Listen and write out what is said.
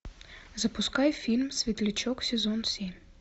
запускай фильм светлячок сезон семь